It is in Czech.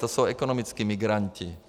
To jsou ekonomičtí migranti.